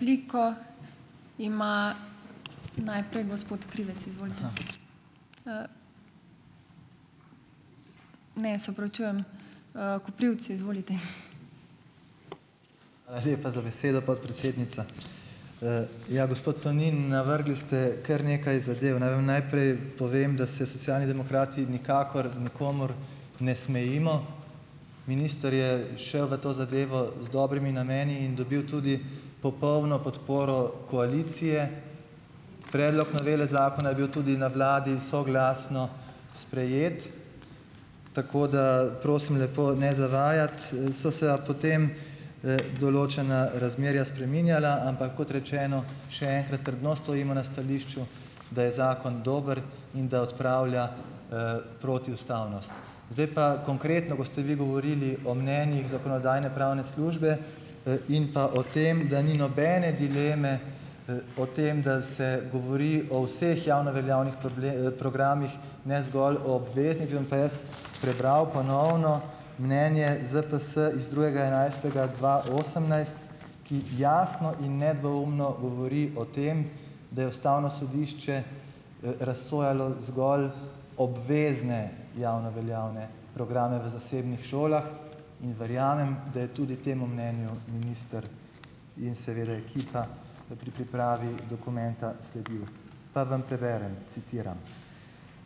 Hvala lepa za besedo, podpredsednica. Ja, gospod Tonin, navrgli ste kar nekaj zadev. Naj vam najprej povem, da se Socialni demokrati nikakor nikomur ne smejimo. Ministr je šel v to zadevo z dobrimi nameni in dobil tudi popolno podporo koalicije. Predlog novele zakona je bil tudi na vladi soglasno sprejet, tako da prosim lepo ne zavajati, So se a potem, določena razmerja spreminjala. Ampak kot rečeno, še enkrat, trdno stojimo na stališču, da je zakon dober in da odpravlja, protiustavnost. Zdaj pa konkretno, ko ste vi govorili o mnenjih Zakonodajno-pravne službe, in pa o tem, da ni nobene dileme, o tem, da se govori o vseh javno veljavnih programih, ne zgolj o obveznih, bi vam pa jaz prebral ponovno mnenje ZPS iz drugega enajstega dva osemnajst, ki jasno in nedvoumno govori o tem, da je ustavno sodišče, razsojalo zgolj obvezne javno veljavne programe v zasebnih šolah. In verjamem, da je tudi temu mnenju minister in seveda ekipa, pri pripravi dokumenta sledil. Pa vam preberem, citiram: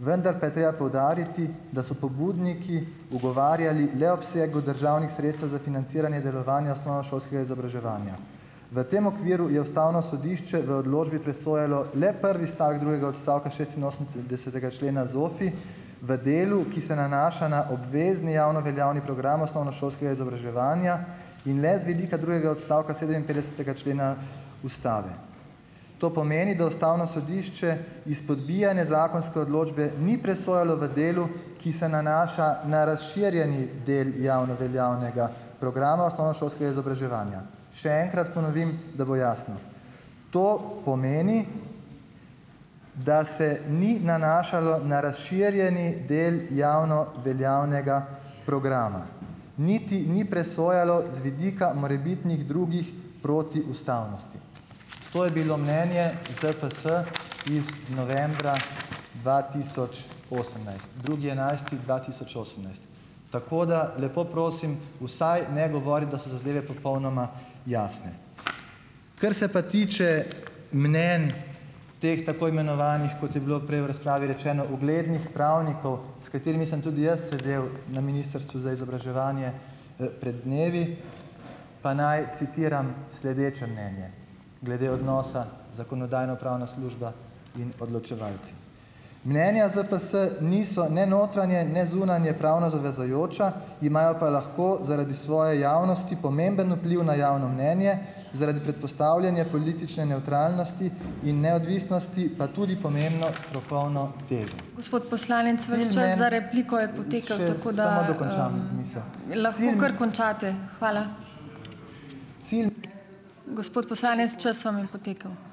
"Vendar pa je treba poudariti, da so pobudniki ugovarjali le obsegu državnih sredstev za financiranje delovanje osnovnošolskega izobraževanja. V tem okviru je ustavno sodišče v odločbi presojalo le prvi stavek drugega odstavka šestinosemdesetega člena ZOFVI v delu, ki se nanaša na obvezni javno veljavni program osnovnošolskega izobraževanja in le z vidika drugega odstavka sedeminpetdesetega člena ustave". To pomeni, da ustavno sodišče izpodbijanje zakonske odločbe ni presojalo v delu, ki se nanaša na razširjeni del javno veljavnega programa osnovnošolskega izobraževanja. Še enkrat ponovim, da bo jasno. To pomeni, da se ni nanašalo na razširjeni del javno veljavnega programa, niti ni presojalo z vidika morebitnih drugih protiustavnosti. To je bilo mnenje ZPS iz novembra dva tisoč osemnajst , drugi enajsti dva tisoč osemnajst. Tako da, lepo prosim, vsaj ne govoriti, da so zadeve popolnoma jasne. Kar se pa tiče mnenj teh tako imenovanih, kot je bilo prej v razpravi rečeno, uglednih pravnikov, s katerimi sem tudi jaz sedel na Ministrstvu za izobraževanje, pred dnevi pa naj citiram sledeče mnenje glede odnosa Zakonodajno-pravna služba in odločevalci: "Mnenja ZPS niso ne notranje ne zunanje pravno zavezujoča, imajo pa lahko zaradi svoje javnosti pomemben vpliv na javno mnenje, zaradi predpostavljanja politične nevtralnosti in neodvisnosti, pa tudi pomembno strokovno težo ...